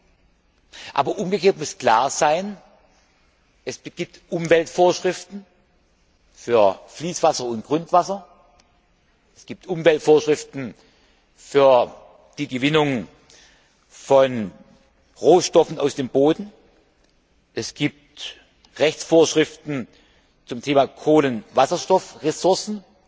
Andererseits muss aber klar sein Es gibt Umweltvorschriften für Fließ und Grundwasser, es gibt Umweltvorschriften für die Gewinnung von Rohstoffen aus dem Boden, es gibt Rechtsvorschriften zum Thema Kohlenwasserstoffressourcen